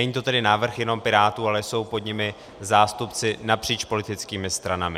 Není to tedy návrh jenom Pirátů, ale jsou pod ním zástupci napříč politickými stranami.